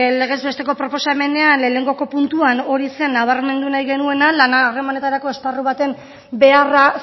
legez besteko proposamenean lehenengoko puntuan hori zen nabarmendu nahi genuena lana harremanetarako esparru baten beharra